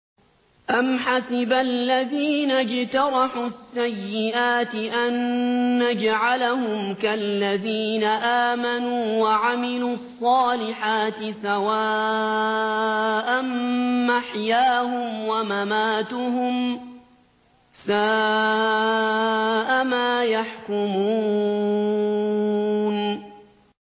أَمْ حَسِبَ الَّذِينَ اجْتَرَحُوا السَّيِّئَاتِ أَن نَّجْعَلَهُمْ كَالَّذِينَ آمَنُوا وَعَمِلُوا الصَّالِحَاتِ سَوَاءً مَّحْيَاهُمْ وَمَمَاتُهُمْ ۚ سَاءَ مَا يَحْكُمُونَ